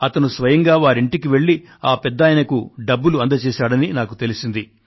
అతను స్వయంగా వారి ఇంటికి వెళ్ళి ఆ పెద్దాయనకు డబ్బులు అందజేశాడని నాకు తెలిసింది